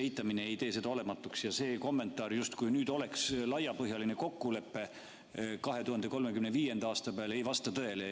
Eitamine ei tee seda olematuks ja see kommentaar, justkui nüüd oleks laiapõhjaliselt kokku lepitud 2035. aastas, ei vasta tõele.